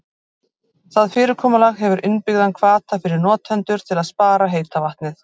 Það fyrirkomulag hefur innbyggðan hvata fyrir notendur til að spara heita vatnið.